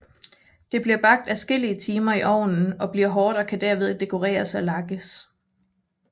Det bliver bagt adskillige timer i ovnen og bliver hårdt og kan derved dekoreres og lakkes